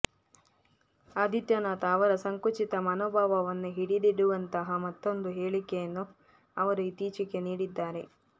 ಆದಿತ್ಯನಾಥ ಅವರ ಸಂಕುಚಿತ ಮನೋಭಾವವನ್ನು ಹಿಡಿದಿಡುವಂತಹ ಮತ್ತೊಂದು ಹೇಳಿಕೆಯನ್ನು ಅವರು ಇತ್ತೀಚೆಗೆ ನೀಡಿದ್ದಾರೆ